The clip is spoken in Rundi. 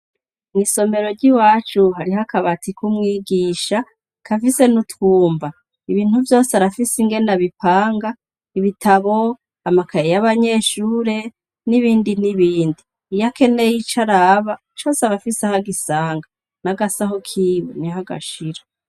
Mw'isombero ry'i wacu hari ho akabati k'umwigisha kafise ni utwumba ibintu vyose arafise ingene bipanga ibitabo amakaye y'abanyeshure n'ibindi n'ibindi iyoakeneye ico araba cose abafise aho gisanga n'agasaho kiwe ni ho agashira.